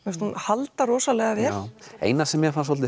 hún heldur vel eina sem mér fannst